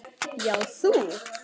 Já, þú.